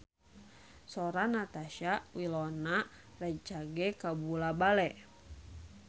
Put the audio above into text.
Sora Natasha Wilona rancage kabula-bale